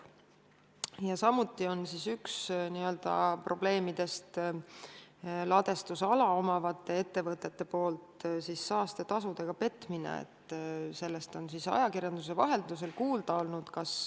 Ja samuti on probleem see, et ladestusala omavad ettevõtted petavad saastetasudega, sellest on ajakirjanduse vahendusel kuulda olnud.